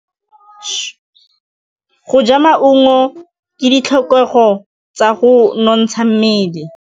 Go ja maungo ke ditlhokegô tsa go nontsha mmele.